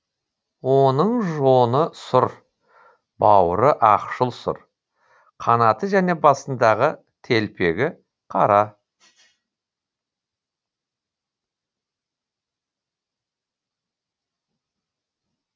оның жоны сұр бауыры ақшыл сұр қанаты және басындағы телпегі қара